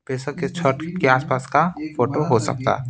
बेसक ये छट के आसपास का फोटो हो सकता है।